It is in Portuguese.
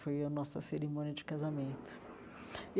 Foi a nossa cerimônia de casamento.